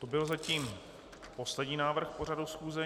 To byl zatím poslední návrh k pořadu schůze.